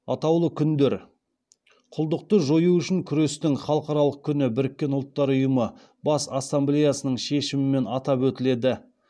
атаулы күндер құлдықты жою үшін күрестің халықаралық күні біріккен ұлттар ұйымы бас ассамблеясының шешімімен атап өтіледі